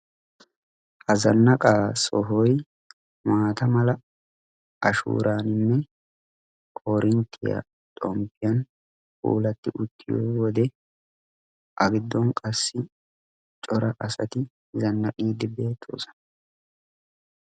Ha zanaqqaa sohoy maataa mala ashuuraaninne koorinttiya xoomppiyan puulati uttiyo wode a giddon qassi cora asati zanaxxidi beettoosona.